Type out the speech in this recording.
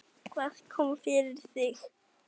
Hvað kom fyrir þig?